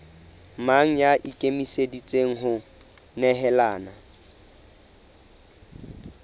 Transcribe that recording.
mang ya ikemiseditseng ho nehelana